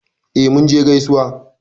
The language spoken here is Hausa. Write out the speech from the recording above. E, Munje gaisuwa.